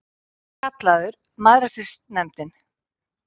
Enda kallaður Mæðrastyrksnefndin.